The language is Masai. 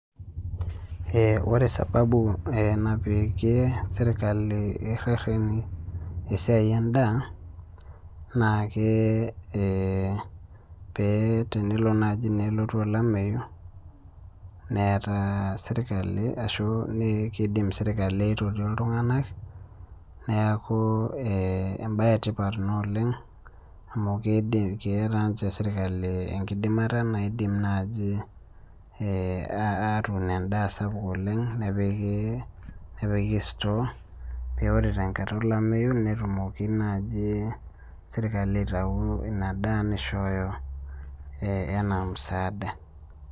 Ee ore sababu napikie rereti esiai endaa na pe tenelo nai nelotu olameyu na kidim serkali aitoki ltunganak neaku embae etipat ina oleng amu keeta ninye serkali enkidimata naidim nai atuun endaa sapuk oleng nepiki store metaa ore tenkata olameyu netumoki naaji serkali aitau inadaa nishooyo ena musaada.